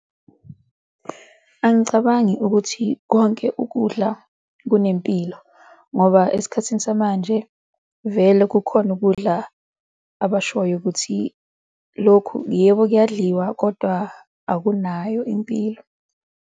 Angicabangi ukuthi konke ukudla kunempilo ngoba esikhathini samanje vele kukhona ukudla abashoyo ukuthi lokhu yebo kuyadliwa kodwa akunayo impilo.